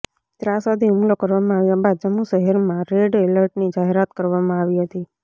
ત્રાસવાદી હુમલો કરવામાં આવ્યા બાદ જમ્મુ શહેરમાં રેડ એલર્ટની જાહેરાત કરવામાં આવી હતી